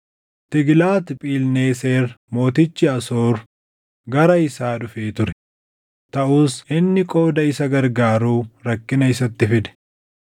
Tiiglaat-Philneeser mootichi Asoor gara isaa dhufee ture; taʼus inni qooda isa gargaaru rakkina isatti fide.